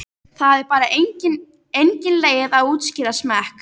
Það er bara engin leið að útskýra smekk.